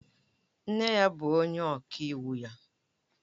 Nne ya bụ onye ọka iwu ya